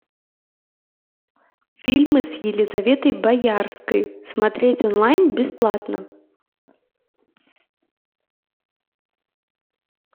фильмы с елизаветой боярской смотреть онлайн бесплатно